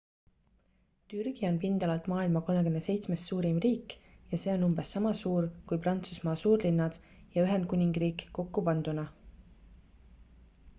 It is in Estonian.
türgi on pindalalt maailma 37 suurim riik ja see on umbes sama suur kui prantsusmaa suurlinnad ja ühendkuningriik kokku panduna